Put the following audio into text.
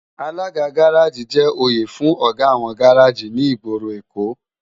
Àlágá gàráji jè óyé fún ógá áwòn gàráji ni igbóró Ékó